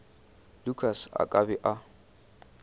lukas a ka be a